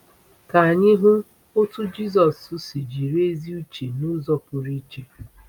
Ka anyị hụ otu Jisọs si jiri ezi uche n'ụzọ pụrụ iche.